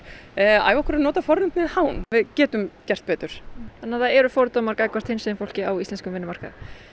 æfa okkur í að nota fornafnið hán við getum gert betur þannig að það eru fordómar gagnvart hinsegin fólki á íslenskum vinnumarkaði